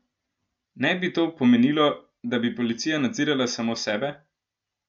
Ne bi to pomenilo, da bi policija nadzirala samo sebe?